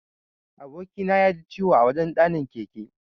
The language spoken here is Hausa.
Aboki na yaji ciwo a wajan ɗanin keke.